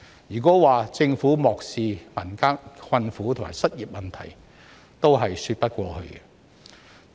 如果說政府漠視民間困苦和失業問題，是說不過去的。